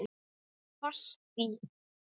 Með Valtý